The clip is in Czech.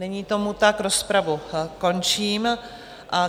Není tomu tak, rozpravu končím.